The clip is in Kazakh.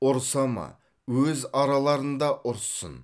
ұрыса ма өз араларында ұрыссын